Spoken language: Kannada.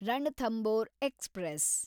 ರಣಥಂಬೋರ್ ಎಕ್ಸ್‌ಪ್ರೆಸ್